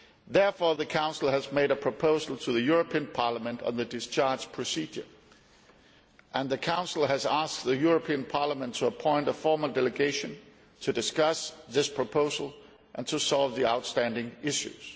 Therefore, the Council has made a proposal to the European Parliament on the discharge procedure, and the Council has asked the European Parliament to appoint a formal delegation to discuss this proposal and to solve the outstanding issues.